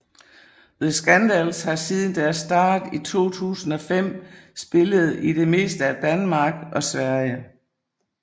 The Skandals har siden deres start i 2005 spillet i det meste af Danmark og Sverige